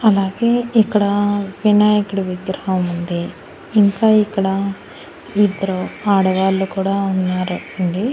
అలాగే ఇక్కడ వినాయకుడి విగ్రహం ఉంది ఇంకా ఇక్కడ ఇద్దరు ఆడవాళ్లు కూడా ఉన్నారు అండి.